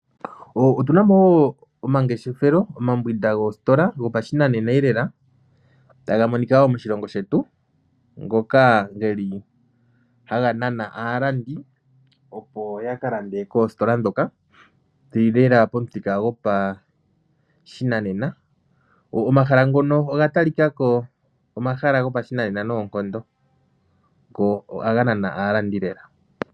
Otuna mo omangeshethelo oma mbwinda goostola gopa shinanenelela taga monika wo moshilongo shetu ngoka geli haga nana aalandi opo ya kalande koostola dhoka dhili lela pamuthika go pashinanena. Omahala ngono oga tali kako omahala gopashinanena nonkondo ko ohaga nana aalandi lela.